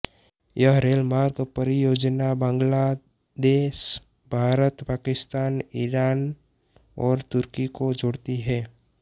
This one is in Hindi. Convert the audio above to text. यह रेल मार्ग परियोजना बांग्लादेशभारतपाकिस्तान ईरान और तुर्की को जोड़ती है